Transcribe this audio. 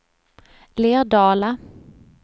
Lerdala